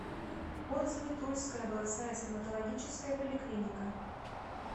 отзывы тульская областная стоматологическая поликлиника